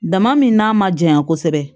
Dama min n'a ma janya kosɛbɛ